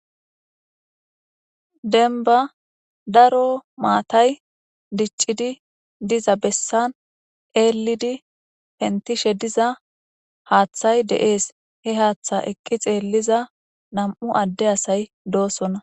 Denba daro maatay diccidi diza bessan eelidi hentishe diza haaththay de'ees he haaththa ekki xeelliza nam'u adde asay doosona.